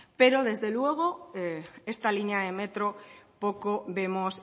pero desde luego esta línea de metro poco vemos